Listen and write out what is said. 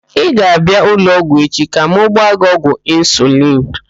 Ị ga-abịa ụlọọgwụ echi ka m gbaa gị ọgwụ insulin?